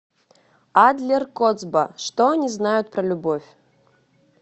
адлер коцба что они знают про любовь